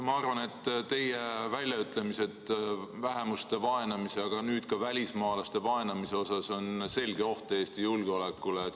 " Ma arvan, et teie väljaütlemised vähemuste vaenamise, aga nüüd ka välismaalaste vaenamise teemal on selge oht Eesti julgeolekule.